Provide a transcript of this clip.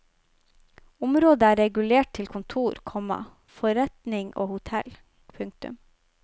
Området er regulert til kontor, komma forretning og hotell. punktum